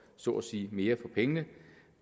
så at sige mere for pengene